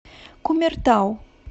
кумертау